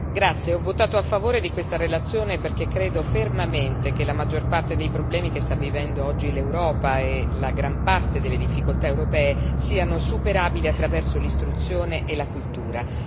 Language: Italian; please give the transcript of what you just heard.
Signor Presidente, onorevoli colleghi, ho votato a favore di questa relazione perché credo fermamente che la maggior parte dei problemi che sta vivendo oggi l'Europa e la gran parte delle difficoltà europee siano superabili attraverso l'istruzione e la cultura.